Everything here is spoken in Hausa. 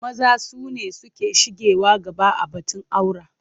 Maza su ne suke shigewa gaba a batun aura.